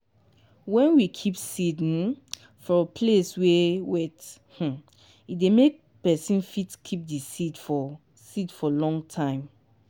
wen we keep seed um from place wey wet um e dey make pesin fit keep di seed for seed for long time.